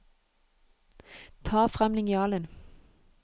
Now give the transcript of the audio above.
Ta frem linjalen